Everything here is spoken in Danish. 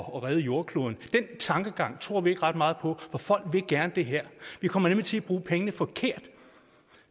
at redde jordkloden den tankegang tror vi ikke ret meget på for folk vil gerne det her vi kommer nemlig til at bruge pengene forkert